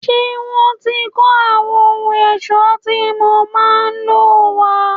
Ṣé wọ́n ti kó àwọn ohun ẹ̀ṣọ́ tí mo máa lò wá?